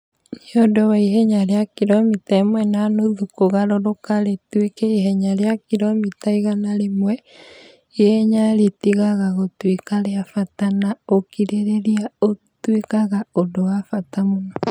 nĩũndũ wa ihenya rĩa kiromita ĩmwe na nuthu kũgarũrũka rĩtuĩke ihenya rĩa kiromita igana rĩmwe, ihenya rĩtigaga gũtuĩka rĩa bata na ũkirĩrĩria ũtuĩkaga ũndũ wa bata mũno.